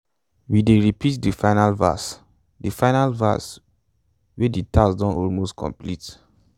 we dey repeat de final verse de final verse wen de task don almost dey complete